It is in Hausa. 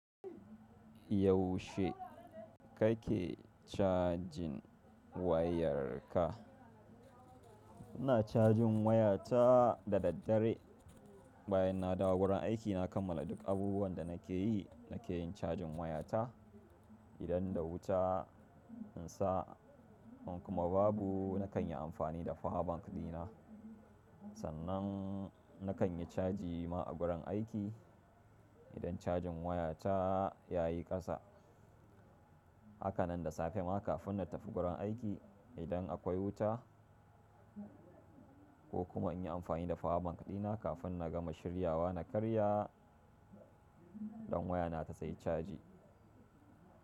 Yaushe kake cajin wayar ka? Ina cajin wayata da daddare, bayan na dawo gurin aiki na kammala duk abubuwan da nake yi. Nake yin cajin wayata idan da wuta in sa in kuma babu nakan yi amfani da power bank ɗina. Sannan nakan yi caji ma a gurin aiki. Idan cajin wayata ya yi ƙasa, hakanan da safe ma kafin na tafi gurin aiki. Idan akwai wuta ko kuma in yi amfani da fa bank ɗina kafin na gama shiryawa na karya ɗan wayana ta tayi caji.